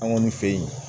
An kɔni fe yen